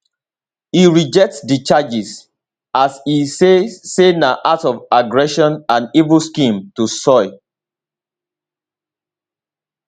e reject di charges as e say say na act of aggression and evil scheme to soil